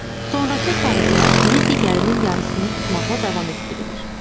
Sonrakı sarğılar biri digərinin yarısını tutmaqla davam etdirilir.